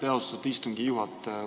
Aitäh, austatud istungi juhataja!